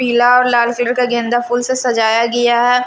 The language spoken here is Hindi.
पीला और लाल कलर कागेंदा फूल से सजाया गिआ है ।